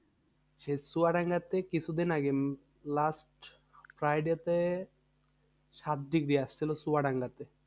সেই চুয়াডাঙ্গাতে কিছুদিন আগে last friday তে সাত degree আসছিলো চুয়াডাঙ্গাতে।